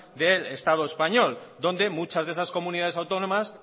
del estado español donde muchas de esas comunidades autónomas